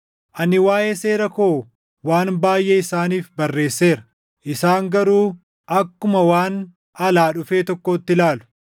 Ani waaʼee seera koo waan baayʼee isaaniif barreesseera; isaan garuu akkuma waan alaa dhufe tokkootti ilaalu.